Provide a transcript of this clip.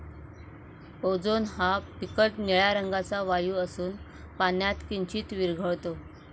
Ozone हा फिकट निळ्या रंगाचा वायु असून, पाण्यात किंचीत विरघळतो.